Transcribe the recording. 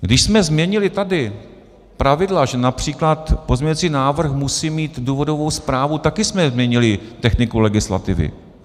Když jsme změnili tady pravidla, že například pozměňovací návrh musí mít důvodovou zprávu, také jsme změnili techniku legislativy.